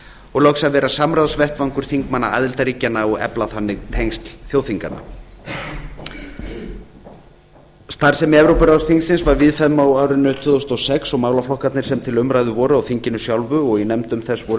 og loks að vera samráðsvettvangur þingmanna aðildarríkjanna og efla þannig tengsl þjóðþinganna starfsemi evrópuráðsþingsins var víðfeðm á árinu tvö þúsund og sex og málaflokkarnir sem til umræðu voru á þinginu sjálfu og í nefndum þess voru